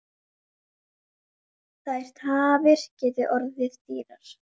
Þær tafir geti orðið dýrar.